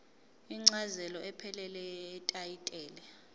incazelo ephelele yetayitela